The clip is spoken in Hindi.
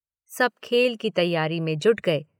सब खेल की तैयारी में जुट गए।